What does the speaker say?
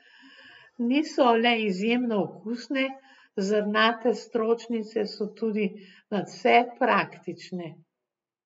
Niso le izjemno okusne, zrnate stročnice so tudi nadvse praktične.